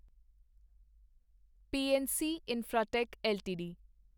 PNC Infratech LTD